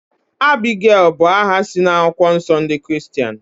Abigail bú aha si na akwụkwọ nsọ ndị Kiristian